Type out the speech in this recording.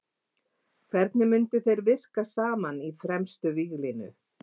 Hvernig myndu þeir virka saman í fremstu víglínu?